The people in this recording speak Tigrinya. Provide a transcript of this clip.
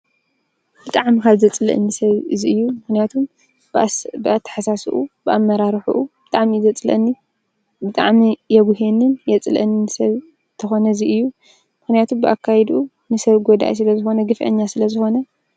ብጥዕ ምኻዘ ጽልአን ሰብ እዙይ እዩ ምሕንያቱም ብኣብኣ ተሓሳስኡ ብኣመራርኁኡ ብጣሚ ይ ዘጽለኒ ብጥዕም የጕሄንን የጽልእንንሰብ ተኾነ እዙይ እዩ ምሕንያቱ ብኣካይዱኡ ንሰብ ጐዳኢ ስለ ዝኾነ ግፍአኛ ስለ ዝኾነ።